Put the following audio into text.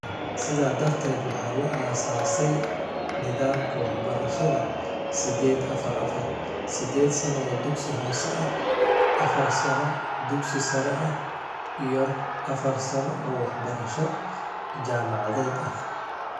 Sidaa darteed, waxaa la asaasay nidaamka waxbarashada sidheed-afar -afar (sideed sano oo dugsi hoose ah, afar sano dugsi sare ah iyo afar sano oo waxbarasho jaamacadeed ah).